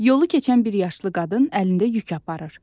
Yolu keçən bir yaşlı qadın əlində yük aparır.